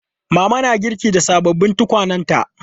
Mama na girki da sababbin tukwanenta.